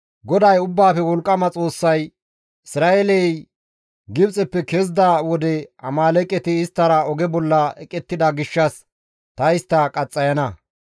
GODAY Ubbaafe Wolqqama Xoossay, ‹Isra7eeley Gibxeppe kezida wode Amaaleeqeti isttara oge bolla eqettida gishshas ta istta qaxxayana.